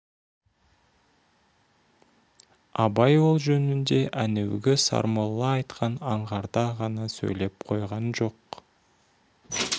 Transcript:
абай ол жөнінде әнеугі сармолла айтқан аңғарда ғана сөйлеп қойған жоқ